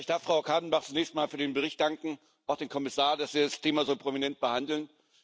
Ich darf Frau Kadenbach zunächst mal für den Bericht danken, auch dem Kommissar, dass Sie das Thema so prominent behandeln.